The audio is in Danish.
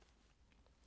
DR2